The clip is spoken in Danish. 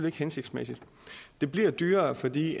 ikke hensigtsmæssigt det bliver dyrere fordi